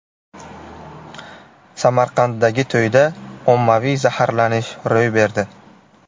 Samarqanddagi to‘yda ommaviy zaharlanish ro‘y berdi.